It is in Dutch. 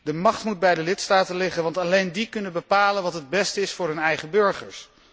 De macht moet bij de lidstaten liggen, want alleen die kunnen bepalen wat het beste is voor hun eigen burgers.